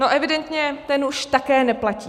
No evidentně, ten už také neplatí.